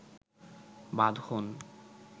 বাঁধন